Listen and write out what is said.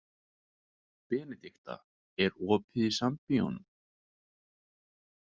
Benidikta, er opið í Sambíóunum?